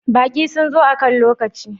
Baƙi sun zo akan lokaci?